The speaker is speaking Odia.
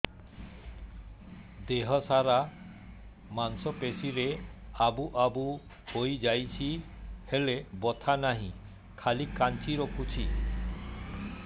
ଦେହ ସାରା ମାଂସ ପେଷି ରେ ଆବୁ ଆବୁ ହୋଇଯାଇଛି ହେଲେ ବଥା ନାହିଁ ଖାଲି କାଞ୍ଚି ରଖୁଛି